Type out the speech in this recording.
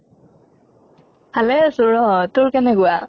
ভালে আছো ৰʼ তোৰ কেনেকুৱা?